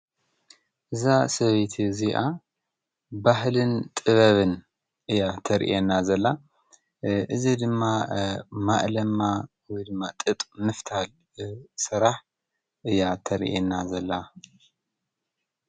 እዛ ሰበይቲ እዚኣ ባህልን ጥበብን እያ ተርእአና ዘላ እዝ ድማ ማእለማ ወ ድማ ጥጥ ምፍታል ሠራሕ እያ ተርእየና ዘላ።